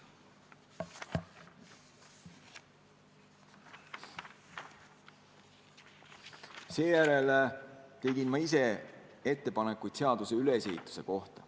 Seejärel tegin mina ettepanekud seaduse ülesehituse kohta.